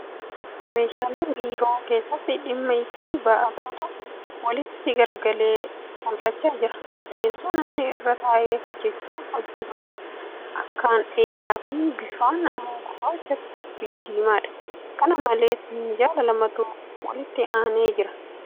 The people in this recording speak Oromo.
Meeshaalee biiroo keessatti dhimma itti ba'atutu walitti garagalee mul'achaa jira. Teessoo namni irra taa'ee hojjaa hojjatu akkaan dheeraa fi bifaan immoo gurraacha fi diimaa dha. Kana malees , minjaala lamatu walitti aanee jira.